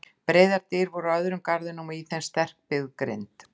Breiðar dyr voru á öðrum garðinum og í þeim sterkbyggð grind.